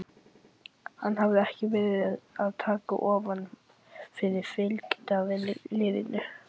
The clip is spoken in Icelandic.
Hann hafði ekki verið að taka ofan fyrir fylgdarliðinu.